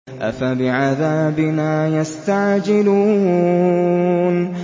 أَفَبِعَذَابِنَا يَسْتَعْجِلُونَ